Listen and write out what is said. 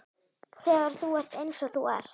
Þegar þú ert eins og þú ert.